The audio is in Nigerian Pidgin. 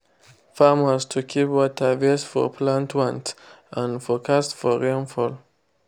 farmers to keep water based for plant want and forcast for rainfall.